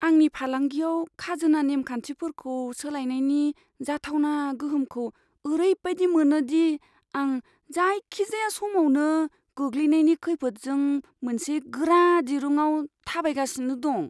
आंनि फालांगियाव खाजोना नेमखान्थिफोरखौ सोलायनायनि जाथावना गोहोमखौ ओरैबादि मोनो दि आं जायखिजाया समावनो गोग्लैनायनि खैफोदजों मोनसे गोरा दिरुंआव थाबायगासिनो दं।